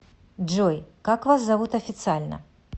джой как вас зовут официально